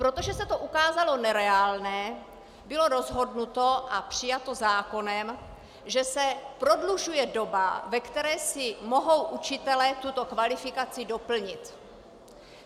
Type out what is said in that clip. Protože se to ukázalo nereálné, bylo rozhodnuto a přijato zákonem, že se prodlužuje doba, ve které si mohou učitelé tuto kvalifikaci doplnit.